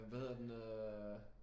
Hvad hedder den øh